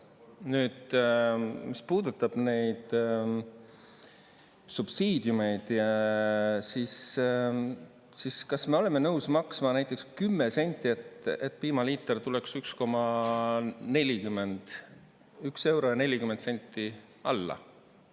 Nüüd, mis puudutab neid subsiidiumeid, siis kas me oleme nõus maksma näiteks 10 senti, et piimaliiter tuleks 1 euro ja 40 senti alla?